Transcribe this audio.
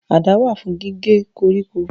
Àdá wà fún gígé koríko